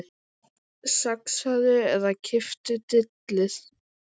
Saxaðu eða klipptu dillið.